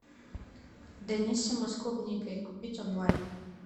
даниссимо с клубникой купить онлайн